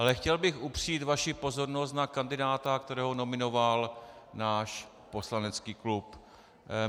Ale chtěl bych upřít vaši pozornost na kandidáta, kterého nominoval náš poslanecký klub.